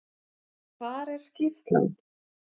Hvar er skýrslan?